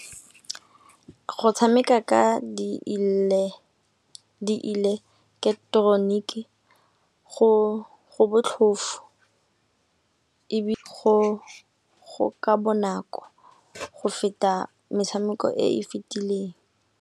Go tshameka ka dieleketoroniki go botlhofo ebile go ka bonako go feta metshameko e e fitileng.